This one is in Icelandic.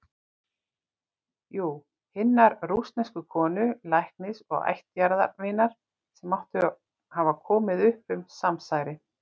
Jú- hinnar rússnesku konu, læknis og ættjarðarvinar, sem átti að hafa komið upp um samsærið.